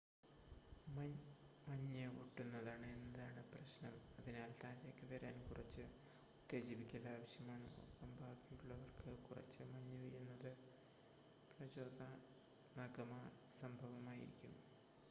മഞ്ഞ് ഒട്ടുന്നതാണ് എന്നതാണ് പ്രശ്നം അതിനാൽ താഴേയ്‌ക്ക് വരാൻ കുറച്ച് ഉത്തേജിപ്പിക്കൽ ആവശ്യമാണ് ഒപ്പം ബാക്കിയുള്ളവർക്ക് കുറച്ച് മഞ്ഞ് വീഴുന്നത് പ്രചോദനാത്മക സംഭവമായിരിക്കും